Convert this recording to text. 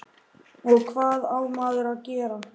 og hvað á maður að gera?